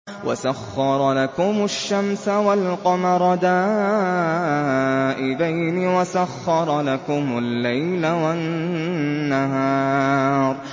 وَسَخَّرَ لَكُمُ الشَّمْسَ وَالْقَمَرَ دَائِبَيْنِ ۖ وَسَخَّرَ لَكُمُ اللَّيْلَ وَالنَّهَارَ